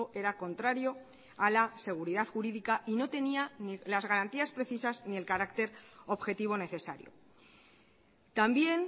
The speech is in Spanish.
era contrario a la seguridad jurídica y no tenía las garantías precisas ni el carácter objetivo necesario también